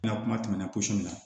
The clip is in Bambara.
N ka kuma tɛmɛnenw min na